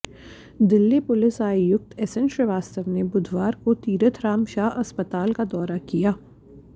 Delhi police आयुक्त S N Shrivastava ने बुधवार को तीरथ राम शाह अस्पताल का दौरा किया